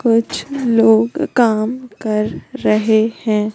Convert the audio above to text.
कुछ लोग काम कर रहे हैं।